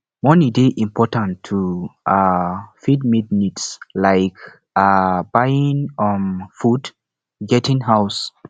money dey important to um fit meet needs like um buying um food getting house